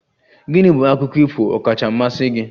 Gịnị bụ akụkọ ifo Ọkacha mmasị gi?